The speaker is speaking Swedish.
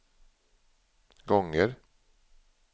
gånger